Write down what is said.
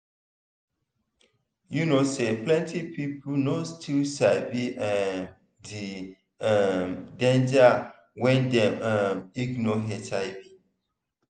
you know say plenty people no still sabi um the um danger wen dem um ignore hiv.